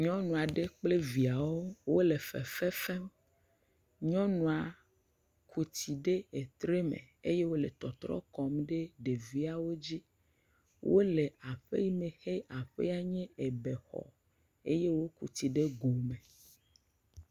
Nyɔnu aɖe kple viawo wole fefefem. Nyɔnua ku tsi ɖe etre me ye wole tɔtrɔm kɔmu ɖe ɖeviawo dzi. Wole aƒe yime xe nye aƒea nye ebe xɔ eye woku tsi ɖe go me.